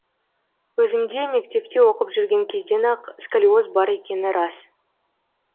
өзімде мектепте оқып жүрген кезден ақ сколиоз бар екені рас